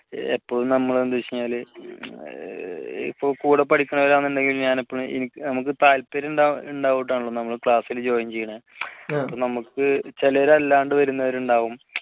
എപ്പോഴും നമ്മൾ എന്ത് വെച്ചാൽ കൂടെ പഠിക്കുന്നവർ നമുക്ക് താല്പര്യമുണ്ടായിട്ടാണല്ലോ നമ്മുടെ class ലെ join ചെയ്യുന്നേ നമുക്ക് ചിലർ അല്ലാണ്ട് വരുന്നവർ ഉണ്ടാവും